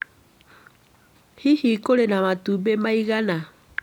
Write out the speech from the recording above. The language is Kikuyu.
Hihi kũrĩ na matumbĩ maigana?